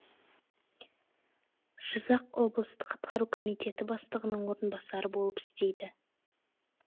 жызақ облыстық атқару комитеті бастығының орынбасары болып істейді